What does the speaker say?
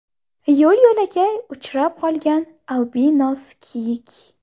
Yo‘l-yo‘lakay uchrab qolgan albinos kiyik.